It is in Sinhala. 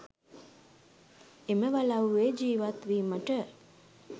එම වලව්වේ ජීවත් වීමට